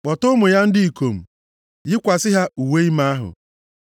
Kpọta ụmụ ya ndị ikom, yikwasị ha uwe ime ahụ.